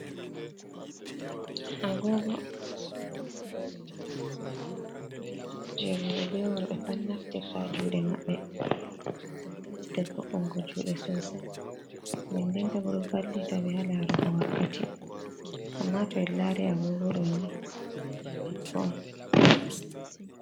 Agogo ni voɗugo kujeji on roɓe be worbe pat naftirta juɗe maɓɓe ngam ɗe ɓedda vo’ungo jude sosai denden bo ɗo valli ta ɓe ha larugo wakkati amma to en lari agogo ɗo ni je debbo on.